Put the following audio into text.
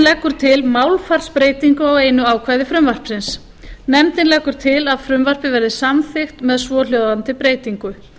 leggur til málfarsbreytingu á einu ákvæði frumvarpsins nefndin leggur til að frumvarpið verði samþykkt með svohljóðandi breytingu